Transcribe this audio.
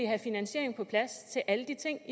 have finansiering på plads til alle de ting